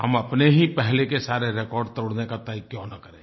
हम अपने ही पहले के सारे रिकॉर्ड तोड़ने का तय क्यों न करें